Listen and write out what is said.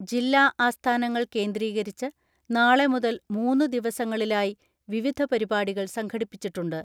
ജില്ലാ ആസ്ഥാനങ്ങൾ കേന്ദ്രീകരിച്ച് നാളെ മുതൽ മൂന്നുദിവ സങ്ങളിലായി വിവിധ പരിപാടികൾ സംഘടിപ്പിച്ചിട്ടുണ്ട്.